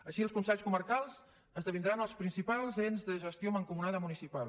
així els consells comarcals esdevindran els principals ens de gestió mancomunada municipal